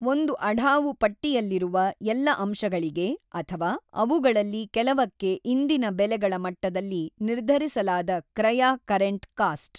ಒಂದು ಅಢಾವು ಪಟ್ಟಿಯಲ್ಲಿರುವ ಎಲ್ಲ ಅಂಶಗಳಿಗೆ ಅಥವಾ ಅವುಗಳಲ್ಲಿ ಕೆಲವಕ್ಕೆ ಇಂದಿನ ಬೆಲೆಗಳ ಮಟ್ಟದಲ್ಲಿ ನಿರ್ಧರಿಸಲಾದ ಕ್ರಯ ಕರೆಂಟ್ ಕಾಸ್ಟ್.